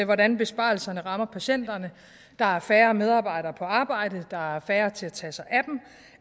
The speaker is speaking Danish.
hvordan besparelserne rammer patienterne der er færre medarbejdere på arbejde der er færre til at tage sig